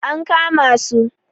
an kama su!